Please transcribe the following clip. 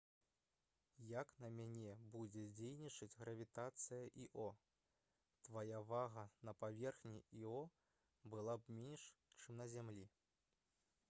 як на мяне будзе дзейнічаць гравітацыя іо твая вага на паверхні іо была б менш чым на зямлі